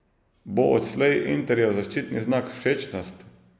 Bo odslej Interjev zaščitni znak všečnost?